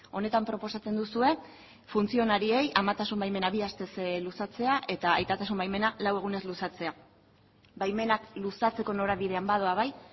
honetan proposatzen duzue funtzionariei amatasun baimenak bi astez luzatzea eta aitatasun baimenak lau egunez luzatzea baimenak luzatzeko norabidean badoa bai